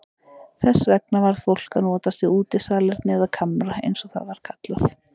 Þess vegna varð fólk að notast við útisalerni eða kamra eins og það var kallað.